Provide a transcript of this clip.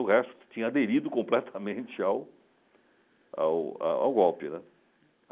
O resto tinha aderido completamente ao ao ao ao golpe, né.